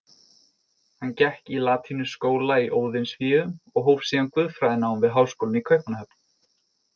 Hann gekk í latínuskóla í Óðinsvéum og hóf síðan guðfræðinám við háskólann í Kaupmannahöfn.